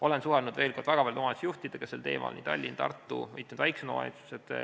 Olen suhelnud väga paljude omavalitsuste juhtidega sel teemal: Tallinn, Tartu, mitmed väiksemad omavalitsused.